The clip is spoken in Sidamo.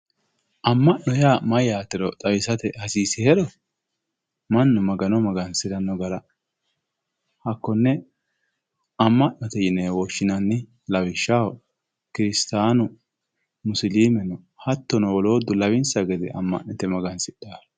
amma'no yaa mayyaatero xawisate hasiisihero mannu magano magansiranno hakkonne amma'note yinewe woshshinanni lawishshaho kiristaanu musilimeno hattono woluuddu lawinsa gede amma'nite magansidhaawe,